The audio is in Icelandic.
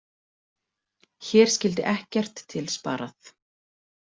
Hér skyldi ekkert til sparað.